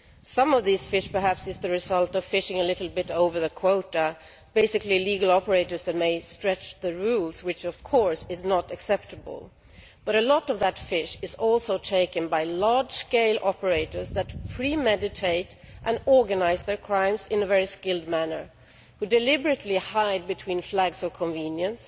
Some of these fish perhaps is the result of fishing a little bit over the quota by basically legal operators that may stretch the rules which of course is not acceptable but a lot of that fish is also taken by large scale operators that premeditate and organise their crimes in a very skilled manner, who deliberately hide between flags of convenience,